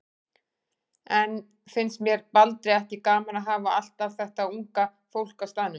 En finnst séra Baldri ekki gaman að hafa allt þetta unga fólk á staðnum?